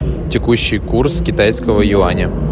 текущий курс китайского юаня